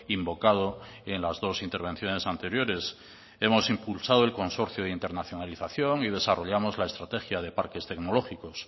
invocado en las dos intervenciones anteriores hemos impulsado el consorcio de internacionalización y desarrollamos la estrategia de parques tecnológicos